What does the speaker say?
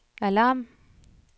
alarm